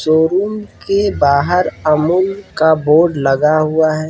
Showroom के बाहर अमूल का बोर्ड लगा हुआ है ।